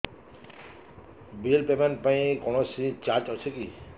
bill payment ପାଇଁ କୌଣସି charge ଅଛି କି